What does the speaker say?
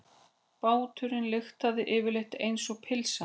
Báturinn lyktaði yfirleitt einsog pylsa.